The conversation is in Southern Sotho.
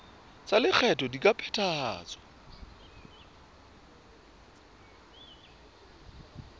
tsa lekgetho di ka phethahatswa